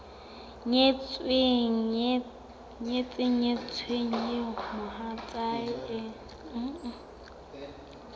nyetseng nyetsweng eo mohatsae e